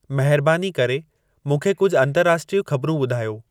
महिरबानी करे मूंंखे कुझ अंतर्राष्ट्रीय ख़बरूं ॿुधायो